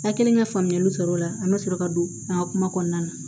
An kɛlen ka faamuyali sɔrɔ o la an bɛ sɔrɔ ka don an ka kuma kɔnɔna na